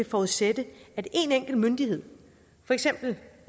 forudsætte at én enkelt myndighed for eksempel